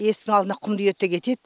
есіктің алдына құмды үйеді де кетеді